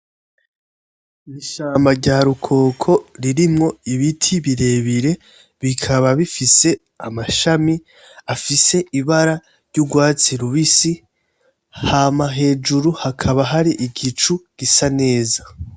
N'ishamba rya rukoko ririmwo ibiti birebire, bikaba bifise amashami afise ibara ry'urwatsi rubisi, hama hejuru hakaba hari igicu gisa neza.